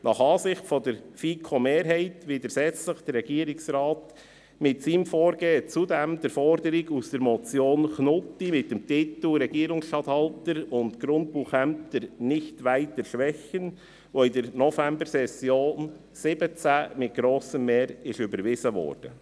Nach Ansicht der FiKo-Mehrheit widersetzt sich der Regierungsrat mit seinem Vorgehen der Forderung aus der Motion Knutti mit dem Titel «Regierungsstatthalterämter und Grundbuchämter nicht weiter schwächen» , welche in der Novembersession 2017 mit grossem Mehr überwiesen wurde.